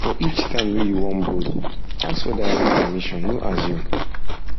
for each time wey you wan borrow ask for direct permission no assume